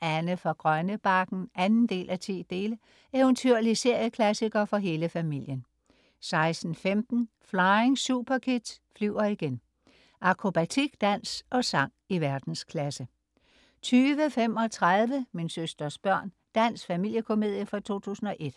Anne fra Grønnebakken 2:10. Eventyrlig serieklassiker for hele familien 16.15 Flying Superkids flyver igen. Akrobatik, dans og sang i verdensklasse 20.35 Min søsters børn. Dansk familiekomedie fra 2001